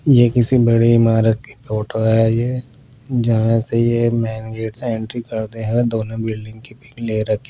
ये किसी बड़ी इमारत की फोटो है ये जहां से ये मेन गेट एंट्री करते हुए दोनों बिल्डिंग की ले रखी--